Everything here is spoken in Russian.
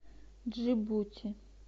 джибути